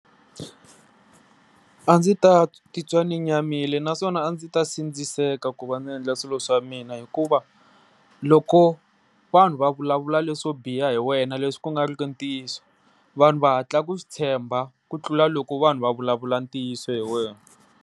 A ndzi ta ti twa ndzi nyamile naswona a ndzi ta sindziseka ku va ndzi endla swilo swa mina hikuva loko vanhu va vulavula leswo biha hi wena leswi ku nga ri ku ntiyiso, vanhu va hatla ku swi tshemba ku tlula loko vanhu va vulavula ntiyiso hi wena.